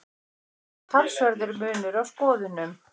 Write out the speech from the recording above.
Hér er þó talsverður munur á skoðunum.